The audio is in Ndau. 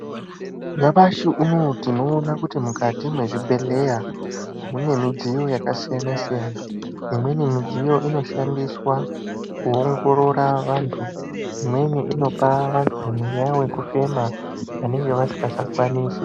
Nyamashi unowu tinoona kuti mukati mezvibhedhlera mune mudziyo yakasiyana siyana imweni midziyo inoshandiswa kuongorora vantu imweni inopa vantu mweya wekufema vanenge vasingacha kwanisi.